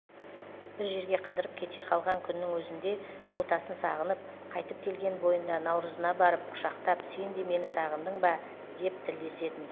бір жерге қыдырып кете қалған күннің өзінде ботасын сағынып қайтып келген бойында наурызына барып құшақтап сен де мені сағындың ба деп тілдесетін